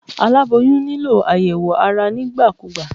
Aláboyún nílò àyẹ̀wò ara nígbà kúgbà.